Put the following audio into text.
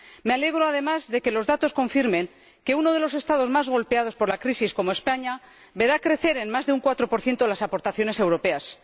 Me alegro, además, de que los datos confirmen que uno de los Estados más golpeados por la crisis como España verá crecer en más de un 4 las aportaciones europeas.